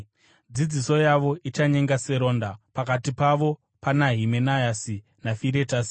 Dzidziso yavo ichanyenga seronda. Pakati pavo pana Himenayasi naFiretasi,